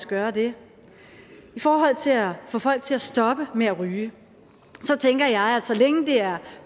gøre det i forhold til at få folk til at stoppe med at ryge tænker jeg at så længe det er